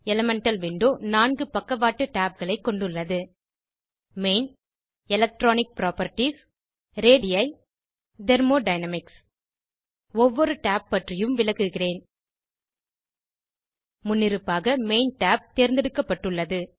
elemental window நான்கு பக்கவாட்டு tabகளை கொண்டுள்ளது main electronic properties ready thermodynamics ஒவ்வொரு tab பற்றியும் விளக்குகிறேன் முன்னிருப்பாக மெயின் tab தேர்ந்தெடுக்கப்பட்டுள்ளது